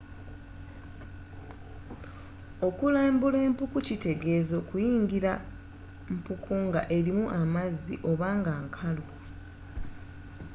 okulambula empuku kyitegeeza kuyingira mpuku nga erimu amazzi oba nga nkalu